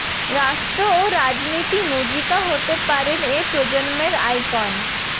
রাষ্ট্র ও রাজনীতি মুজিকা হতে পারেন এ প্রজন্মের আইকন